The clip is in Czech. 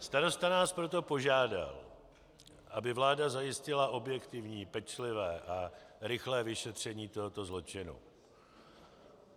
Starosta nás proto požádal, aby vláda zajistila objektivní, pečlivé a rychlé vyšetření tohoto zločinu.